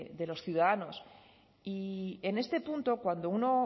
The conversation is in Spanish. de los ciudadanos y en este punto cuando uno